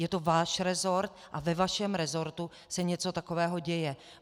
Je to váš resort a ve vašem resortu se něco takového děje.